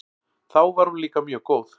Þá var hún líka mjög góð.